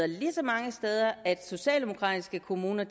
ligesom mange steder at socialdemokratiske kommuner